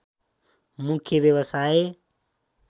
मुख्य व्यवसाय